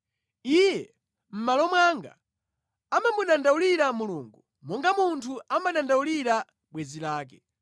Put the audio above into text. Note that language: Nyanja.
iye, mʼmalo mwanga, amamudandaulira Mulungu monga munthu amadandaulira bwenzi lake.